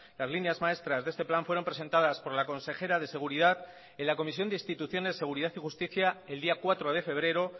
las líneas maestras de este plan fueron presentadas por la consejera de seguridad en la comisión de instituciones seguridad y justicia el día cuatro de febrero